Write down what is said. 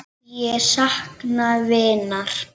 Ég sakna vinar.